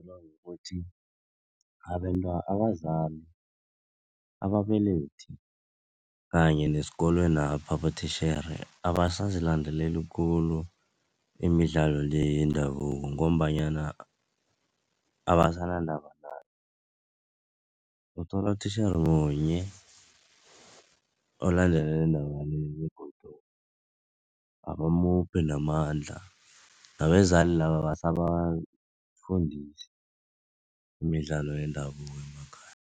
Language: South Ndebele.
Abazali ababelethi kanye nesikolwenapha abotitjhere abasazilandeleli khulu imidlalo le yendabuko ngombanyana abasanandaba nayo. Uthola utitjhere munye olandelela indaba le begodu abamuphi namandla. Nabezali laba abasabafundisi imidlalo yendabuko